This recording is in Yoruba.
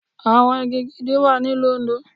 Àwọn igi gidi wà ní ìlú Òndó.